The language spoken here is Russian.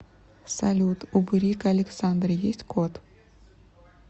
салют у бурико александры есть кот